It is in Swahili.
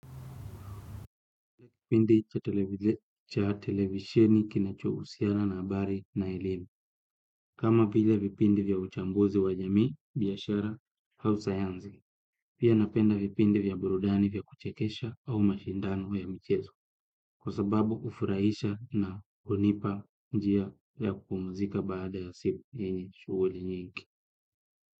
Kipindi cha televisheni kinachohusiana na habari na elimu. Kama vile vipindi vya uchambuzi wa jamii, biashara, au sayansi. Pia napenda vipindi vya burudani vya kuchekesha au mashindano ya mchezo. Kwa sababu ufurahisha na hunipa njia ya kupumzika baada ya siku yenye shughuli nyingi.